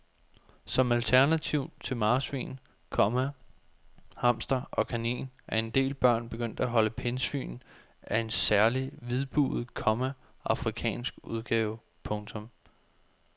Som alternativ til marsvin, komma hamster og kanin er en del børn begyndt at holde pindsvin af en særlig hvidbuget, komma afrikansk udgave. punktum